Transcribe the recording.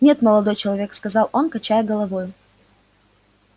нет молодой человек сказал он качая головою